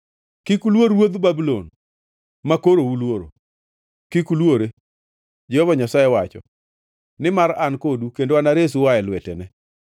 Kik uluor ruodh Babulon, makoro uluoro. Kik uluore, Jehova Nyasaye wacho, nimar an kodu kendo anaresu ua e lwetene.